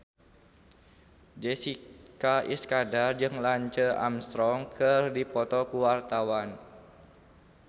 Jessica Iskandar jeung Lance Armstrong keur dipoto ku wartawan